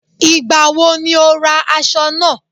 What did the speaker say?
Ìgbà wo ni o ra aṣọ náà?